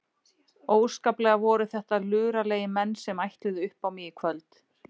Óskaplega voru þetta luralegir menn sem ætluðu upp á mig í kvöld.